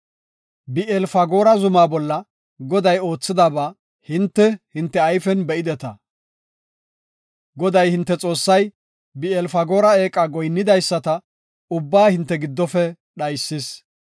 Bi7eel-Fagoora zuma bolla Goday oothidaba hinte, hinte ayfen be7ideta. Goday, hinte Xoossay Bi7eel-Fagoora eeqa goyinnidaysata ubbaa hinte giddofe dhaysis.